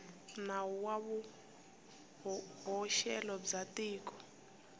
nawu wa vuhoxelo bya tiko